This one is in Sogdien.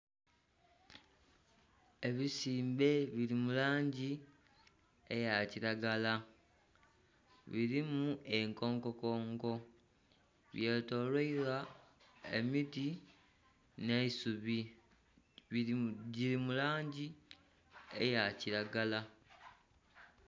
Ebisimbe biri mu langi eya kiragala. Birimu ekonkokonko, byetoloilwa emiti n'eisubi giri mu langi eya kiragala.